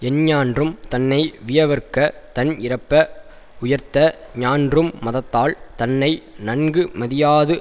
எஞ்ஞான்றும் தன்னை வியவற்க தன் இறப்ப உயர்த்த ஞான்றும் மதத்தால் தன்னை நன்கு மதியாது